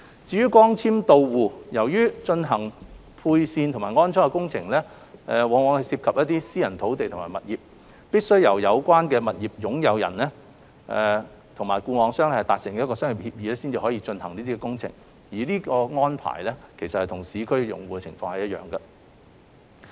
至於光纖到戶，由於在進行配線和安裝工程方面涉及私人土地及物業，必須由有關業權擁有人與固網商達成商業協議方可進行相關工程，這種安排與市區用戶的情況一樣。